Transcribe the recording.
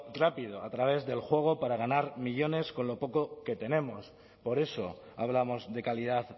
rápido a través del juego para ganar millónes con lo poco que tenemos por eso hablamos de calidad